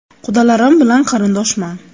Qudalarim bilan qarindoshman.